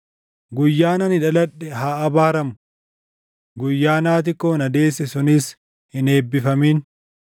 Guyyaan ani dhaladhe haa abaaramu! Guyyaan haati koo na deesse sunis hin eebbifamin!